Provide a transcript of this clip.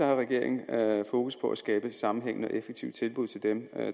regeringen fokus på at skabe et sammenhængende og effektivt tilbud til dem